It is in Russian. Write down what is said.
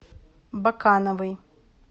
бакановой